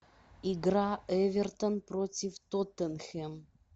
игра эвертон против тоттенхэм